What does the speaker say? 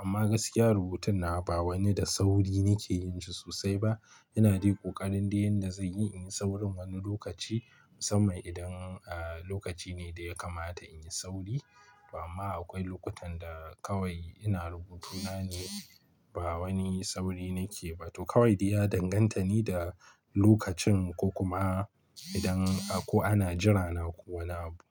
Amma gaskiya rubutun na ba wani da sauri nake yin shi sosai ba. Ina daii ƙoƙarin dai yanda zai yi in yi saurin wani lokaci musamman idan, ah, lokaci ne da ya kamata in yi sauri. Amma akwai lokutan da kawai ina rubutu na ne ba wani sauri nake ba. To kawai dai ya danganta ne da lokacin ko kuma idan ako ana jira na ko wani abu.